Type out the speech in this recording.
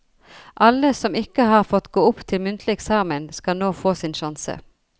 Alle som ikke har fått gå opp til muntlig eksamen, skal nå få sin sjanse.